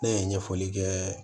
Ne ye ɲɛfɔli kɛ